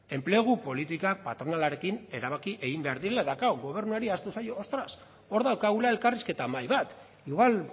enplegu politikak patronalarekin erabaki egin behar direla eta klaro gobernuari ahaztu zaio ostras hor daukagula elkarrizketa mahai bat igual